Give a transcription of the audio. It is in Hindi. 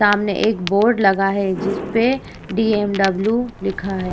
सामने एक बोर्ड लगा है। जिसपे बीएमडब्ल्यू लिखा है।